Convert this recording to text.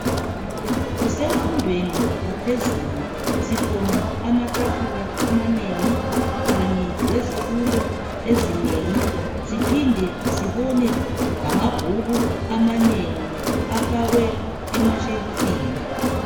Kusemfundweni yaphezulu sibona amatafula amanengi kanye lezitulo ezinengi siphinde sibone lamabhuku amanengi afakwe emashelufini.